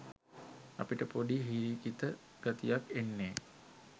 අපිට පොඩි හිරිකිත ගතියක් එන්නෙ